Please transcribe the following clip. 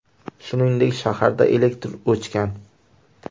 Shuningdek, shaharda elektr o‘chgan .